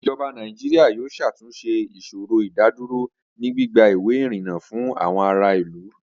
Ijọba Nàìjíríà yóò ṣàtúnṣẹ̀ ìṣòrò ìdádúrò ni gbigba iwé irínńá fún àwọn àrà ilú